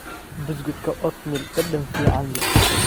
Buskudka oatmeal dhadhan fiican leh.